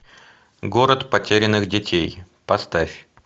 город потерянных детей поставь